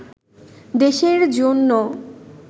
দেশের জন্য